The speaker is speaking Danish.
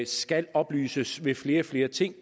skal oplyses ved flere og flere ting